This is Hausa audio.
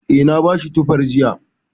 Eh, na bashi tufar jiya.